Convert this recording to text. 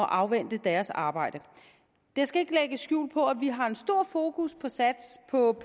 afvente deres arbejde jeg skal ikke lægge skjul på at vi har stor fokus på på